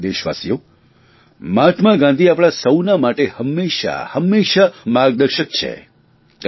મારા વ્હાલા દેશવાસીઓ મહાત્મા ગાંધી આપણા સૌના માટે હંમેશા હંમેશા માર્ગદર્શક છે